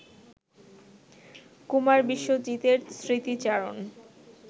কুমার বিশ্বজিতের স্মৃতিচারণ